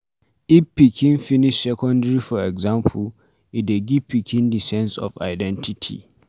If pikin finish secondary for example e dey give pikin di sense of identity